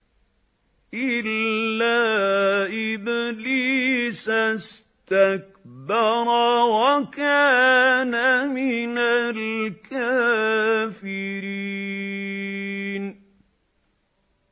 إِلَّا إِبْلِيسَ اسْتَكْبَرَ وَكَانَ مِنَ الْكَافِرِينَ